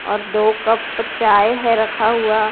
और दो कप चाय है रखा हुआ।